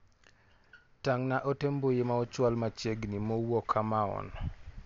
Tang'na ote mbui ma ochwal machiegni mowuok Amaon.